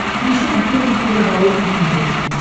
включи охотник и рыболов на смотрешке